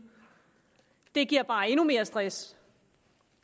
det giver bare endnu mere stress